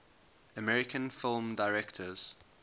american film directors